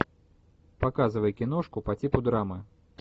показывай киношку по типу драмы